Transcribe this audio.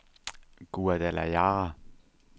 Guadalajara